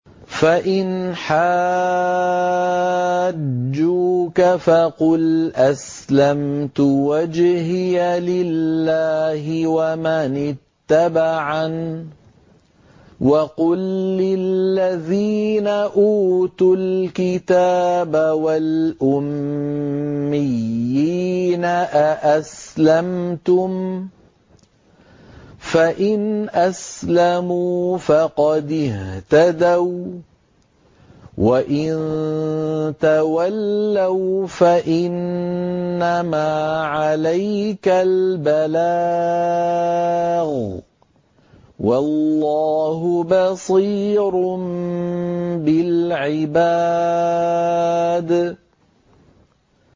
فَإِنْ حَاجُّوكَ فَقُلْ أَسْلَمْتُ وَجْهِيَ لِلَّهِ وَمَنِ اتَّبَعَنِ ۗ وَقُل لِّلَّذِينَ أُوتُوا الْكِتَابَ وَالْأُمِّيِّينَ أَأَسْلَمْتُمْ ۚ فَإِنْ أَسْلَمُوا فَقَدِ اهْتَدَوا ۖ وَّإِن تَوَلَّوْا فَإِنَّمَا عَلَيْكَ الْبَلَاغُ ۗ وَاللَّهُ بَصِيرٌ بِالْعِبَادِ